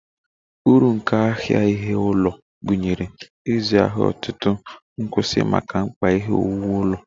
Uru nke ahịa ihe ụlọ gụnyere ịzụ ahịa otu nkwụsị maka mkpa ihe owuwu niile